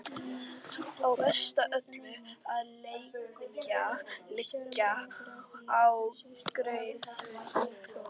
Og verst af öllu að leggja lygina á Geirþrúði.